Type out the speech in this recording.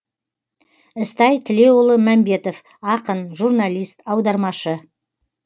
ізтай тілеуұлы мәмбетов ақын журналист аудармашы